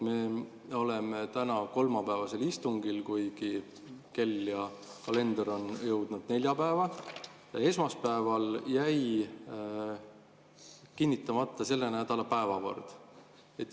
Me oleme täna kolmapäevasel istungil, kuigi kell ja kalender on jõudnud neljapäeva, aga esmaspäeval jäi selle nädala päevakord kinnitamata.